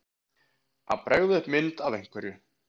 Að bregða upp mynd af einhverju